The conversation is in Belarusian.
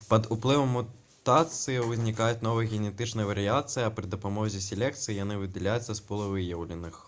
пад уплывам мутацыі ўзнікаюць новыя генетычныя варыяцыі а пры дапамозе селекцыі яны выдаляюцца з пула выяўленых